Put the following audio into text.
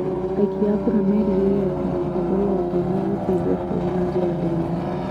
Aikia a kura merĩgĩrĩire atĩ mũtongoria ũngĩ nĩ egũteithia bũrũri na njĩra ndigganu